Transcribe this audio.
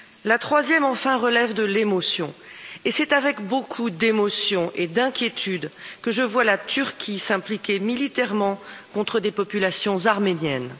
La troisième enfin, relève de l'émotion et c'est avec beaucoup d'émotion et d'inquiétude, que je vois la Turquie s'impliquer militairement contre des populations arméniennes.